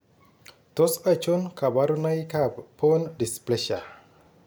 Tos achon kabarunaik ab Bone dysplasia ?